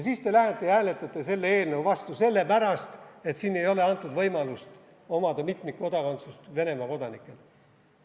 Siis te lähete ja hääletate selle eelnõu vastu sellepärast, et siin ei ole antud võimalust omada mitmikkodakondsust Venemaa kodanikele.